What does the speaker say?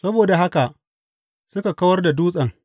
Saboda haka suka kawar da dutsen.